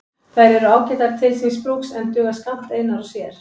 Þær eru ágætar til síns brúks en duga skammt einar og sér.